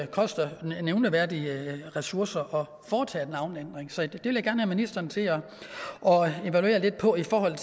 koster nævneværdige ressourcer at foretage en navneændring så det vil jeg gerne have ministeren til at evaluere lidt på i forhold